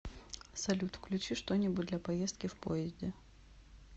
салют включи что нибудь для поездки в поезде